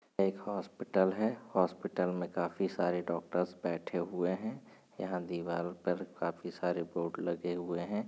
एक हॉस्पिटल है। हॉस्पिटल में काफी सारे डॉक्टर्स बैठे हुए हैं। यहां दीवारों पर काफी सारे बोर्ड लगे हुए हैं।